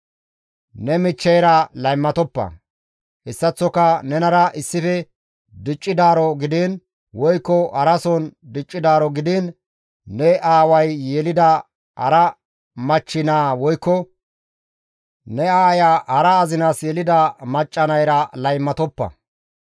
«Ne michcheyra laymatoppa; hessaththoka nenara issife diccidaaro gidiin woykko harason diccidaaro gidiin ne aaway yelida hara machchi naa woykko ne aaya hara azinas yelida macca nayra laymatoppa.